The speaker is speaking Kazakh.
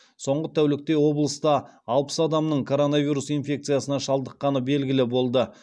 соңғы тәулікте облыста алпыс адамның коронавирус инфекциясына шалдыққаны белгілі болды